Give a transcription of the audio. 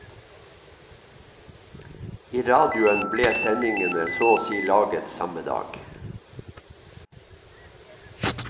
I radioen ble sendingene så å si laget samme dag.